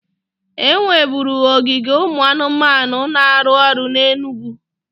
E nweburu ogige ụmụ anụmanụ na-arụ ọrụ na Enugwu